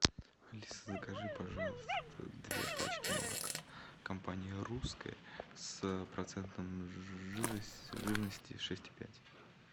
алиса закажи пожалуйста две пачки молока компании русское с процентом жирности шесть и пять